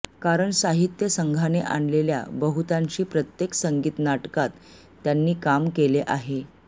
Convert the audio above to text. कारण साहित्य संघाने आणलेल्या बहुतांशी प्रत्येक संगीत नाटकात त्यांनी काम केले आहे